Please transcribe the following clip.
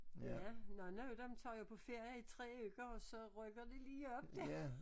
Ja nogle af dem tager jo på ferie i 3 uger og så rykker de lige op der